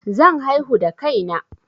Zan haihu da kai na